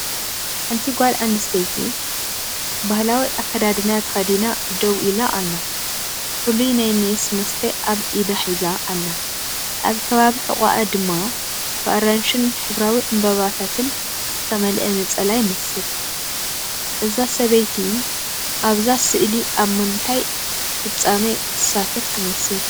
ሓንቲ ጓል ኣንስተይቲ ባህላዊ ኣከዳድና ተኸዲና ደው ኢላ ኣላ። ፍሉይ ናይ ሜስ መስተ ኣብ ኢዳ ሒዛ ኣላ። ኣብ ከባቢ ሕቖኣ ድማ ብኣራንሺን ሕብራዊ ዕምባባታትን ዝተመልአ ነፀላ ይመስል። እዛ ሰበይቲ ኣብዛ ስእሊ ኣብ ምንታይ ፍጻመ ትሳተፍ ትመስል?